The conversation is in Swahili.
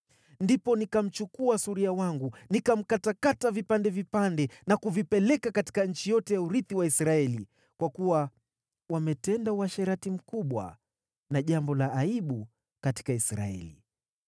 Ndipo nikamchukua suria wangu, nikamkatakata vipande vipande na kuvipeleka katika nchi yote ya urithi wa Israeli, kwa kuwa wametenda uasherati mkubwa na jambo la aibu katika Israeli.